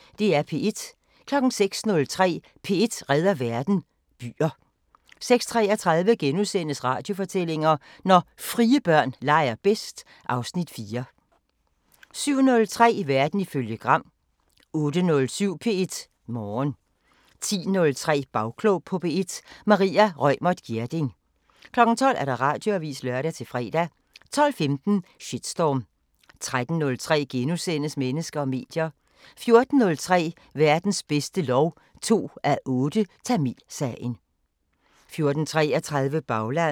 06:03: P1 redder verden: Byer 06:33: Radiofortællinger: Når frie børn leger bedst (Afs. 4)* 07:03: Verden ifølge Gram 08:07: P1 Morgen 10:03: Bagklog på P1: Maria Reumert Gjerding 12:00: Radioavisen (lør-fre) 12:15: Shitstorm 13:03: Mennesker og medier * 14:03: Verdens bedste lov 2:8: Tamilsagen 14:33: Baglandet